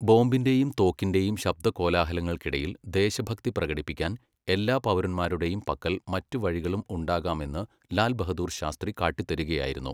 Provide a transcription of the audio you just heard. ബോംബിന്റെയും തോക്കിന്റെയും ശബ്ദകോലാഹലങ്ങൾക്കിടയിൽ ദേശഭക്തി പ്രകടിപ്പിക്കാൻ എല്ലാ പൗരന്മാരുടെയും പക്കൽ മറ്റു വഴികളും ഉണ്ടാകാമെന്ന് ലാൽ ബഹദുർ ശാസ്ത്രി കാട്ടിത്തരുകയായിരുന്നു.